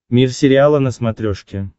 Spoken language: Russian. мир сериала на смотрешке